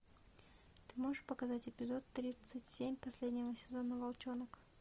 ты можешь показать эпизод тридцать семь последнего сезона волчонок